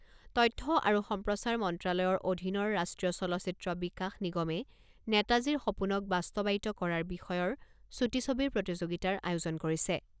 তথ্য আৰু সম্প্ৰচাৰ মন্ত্ৰালয়ৰ অধীনৰ ৰাষ্ট্ৰীয় চলচ্চিত্ৰ বিকাশ নিগমে নেতাজীৰ সপোনক বাস্তৱায়িত কৰাৰ বিষয়ৰ ছুটি ছবিৰ প্ৰতিযোগিতাৰ আয়োজন কৰিছে।